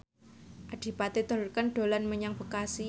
Adipati Dolken dolan menyang Bekasi